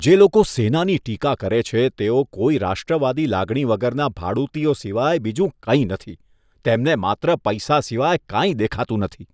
જે લોકો સેનાની ટીકા કરે છે તેઓ કોઈ રાષ્ટ્રવાદી લાગણી વગરના ભાડૂતીઓ સિવાય બીજું કંઈ નથી. તેમને માત્ર પૈસા સિવાય કાંઈ દેખાતું નથી.